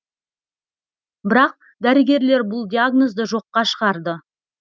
бірақ дәрігерлер бұл диагнозды жоққа шығарды